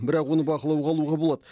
бірақ оны бақылауға алуға болады